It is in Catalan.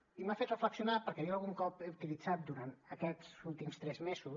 i m’ha fet reflexionar perquè jo algun cop he utilitzat durant aquests últims tres mesos